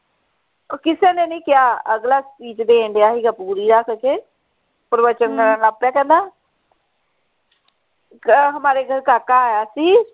ਕਿਸੇ ਨੇ ਨਹੀਂ ਕਿਹਾ ਅਗਲਾ speech ਦੇਣ ਢਆ ਸੀ ਪੂਰੀ ਅੱਕ ਕੇ ਪ੍ਰਵਚਨ ਦੇਣ ਲੱਗ ਪਿਆ ਕਹਿੰਦਾ ਆ ਅਹ ਹਮਾਰੇ ਘਰ ਕਾਕਾ ਆਇਆ ਸੀ